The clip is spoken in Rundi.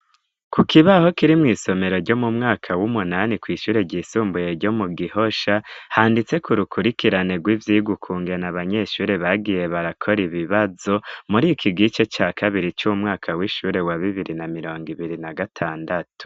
Ku kibaho kiri mw'isomero ryo mu mwaka w'umunani kw'ishure ryisumbuye ryo mu gihosha handitse ku rukurikirane rw'ivyige ukungena abanyeshure bagiye barakora ibibazo muri iki gice ca kabiri c'umwaka w'ishure wa bibiri na mirongo ibiri na gatandatu.